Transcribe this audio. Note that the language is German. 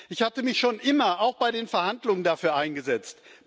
Ich hatte mich schon immer auch bei den Verhandlungen dafür eingesetzt.